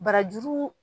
Barajuru